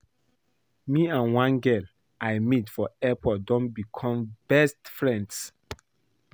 Me and one girl I meet for airport don become best of friends